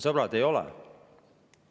Sõbrad, ei ole!